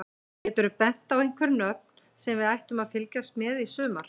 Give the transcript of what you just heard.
Geturðu bent okkur á einhver nöfn sem við ættum að fylgjast með í sumar?